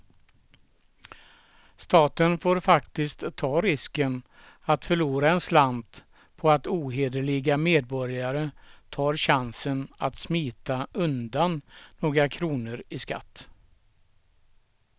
Staten får faktiskt ta risken att förlora en slant på att ohederliga medborgare tar chansen att smita undan några kronor i skatt.